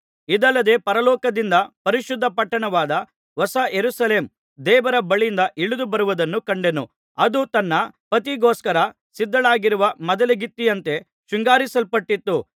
ಇದಲ್ಲದೆ ಪರಲೋಕದಿಂದ ಪರಿಶುದ್ಧ ಪಟ್ಟಣವಾದ ಹೊಸ ಯೆರೂಸಲೇಮ್ ದೇವರ ಬಳಿಯಿಂದ ಇಳಿದು ಬರುವುದನ್ನು ಕಂಡೆನು ಅದು ತನ್ನ ಪತಿಗೋಸ್ಕರ ಸಿದ್ಧಳಾಗಿರುವ ಮದಲಗಿತ್ತಿಯಂತೆ ಶೃಂಗರಿಸಲ್ಪಟ್ಟಿತ್ತು